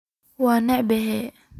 Wan ceebobe.